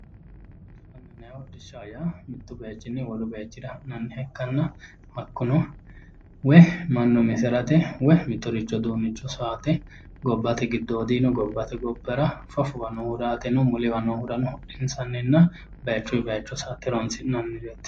Hodhishshaho yaa mittu bayichinni wolu bayichira ha'nanniha ikkanna hakkuno mannu umisi harate woyi mittoricho uduunnicho sowate. Gobbate giddoodiino gobbate gobbara fafowa nooohura yaateno muliwa noohurano hodhinsannino bayichuyi bayicho sa"ate horoonsi'nannireeti.